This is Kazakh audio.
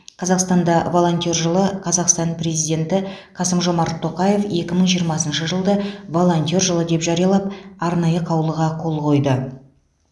қазақстанда волонтер жылы қазақстан президенті қасым жомарт тоқаев екі мың жиырмасыншы жылды волонтер жылы деп жариялап арнайы қаулыға қол қойды